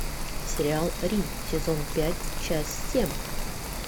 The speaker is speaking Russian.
сериал рим сезон пять часть семь